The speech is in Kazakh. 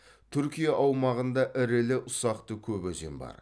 түркия аумағында ірілі ұсақты көп өзен бар